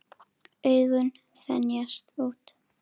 Augun þenjast út.